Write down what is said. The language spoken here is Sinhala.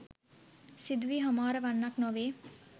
සිදුවී හමාර වන්නක් නොවේ.